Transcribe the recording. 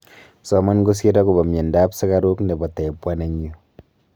soman kosiir agoba myanta ab sukaruk nebo type 1 eng yuu